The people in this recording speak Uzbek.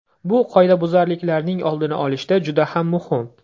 Bu qoidabuzarliklarning oldini olishda juda ham muhim.